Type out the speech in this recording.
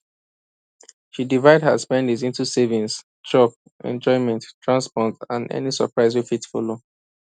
she divide her spending into savings chop enjoyment transport and any surprise wey fit show